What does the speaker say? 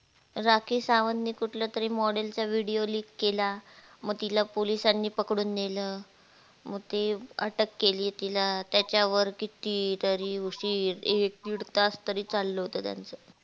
राखी सावंतने कुठल्या तरी model चा videoleak केला. मग तिला पोलिसांनी पकळून नेल म अटक केली तिला त्याच्या वर किती तरी एक दीड तास तरी चालल होत त्याच